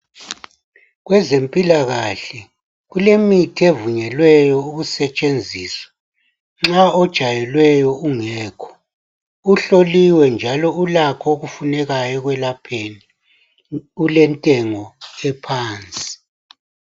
Kwezempilakahle kulemithi evunyelweyo ukusetshenziswa nxa ojayelweyo ungekho uhloliwe njalo ulakho okufunekayo ekwelaphani ulentengo ephansi